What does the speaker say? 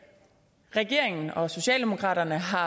regeringen og socialdemokraterne har